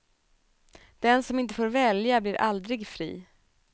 Den som inte får välja blir aldrig fri.